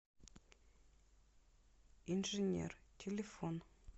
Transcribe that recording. инженер телефон